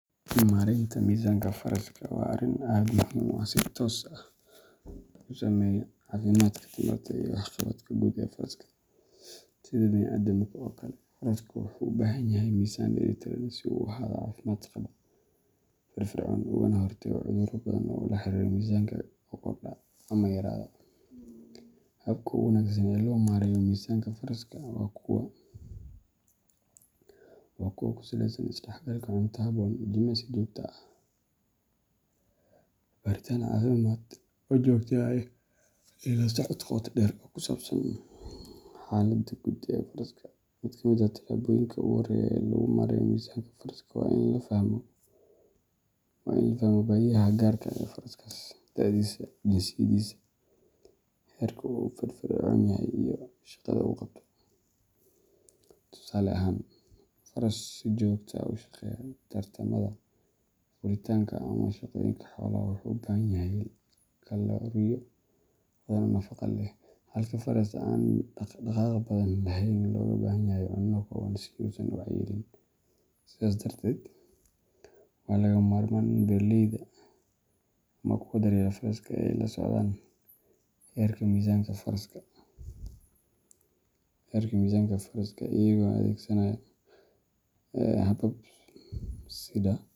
Maareynta miisanka faraska waa arrin aad muhiim u ah oo si toos ah u saameeya caafimaadka, tamarta, iyo waxqabadka guud ee faraska. Sida bini’aadamka oo kale, farasku wuxuu u baahan yahay miisaan dheellitiran si uu u ahaado mid caafimaad qaba, firfircoon, ugana hortago cudurro badan oo la xiriira miisaanka oo kordha ama yaraada. Hababka ugu wanaagsan ee loo maareeyo miisaanka faraska waa kuwa ku saleysan is-dhexgalka cunto habboon, jimicsi joogto ah, baaritaan caafimaad oo joogto ah, iyo la socod qoto dheer oo ku saabsan xaaladda guud ee faraska. Mid ka mid ah talaabooyinka ugu horreeya ee lagu maareeyo miisanka faraska waa in la fahmo baahiyaha gaarka ah ee faraskaas: da'diisa, jinsiyadiisa, heerka uu firfircoon yahay, iyo shaqada uu qabto. Tusaale ahaan, faras si joogto ah u shaqeeya tartamada, fuulitaanka, ama shaqooyinka xoolaha wuxuu u baahan yahay kalooriyo badan oo nafaqo leh, halka faraska aan dhaqaaq badan lahayn looga baahan yahay cunno kooban si uusan u cayilin. Sidaas darteed, waa lagama maarmaan in beeraleyda ama kuwa daryeela faraska ay la socdaan heerka miisaanka faraska iyagoo adeegsanaya habab sida.